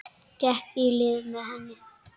Gekk í lið með henni.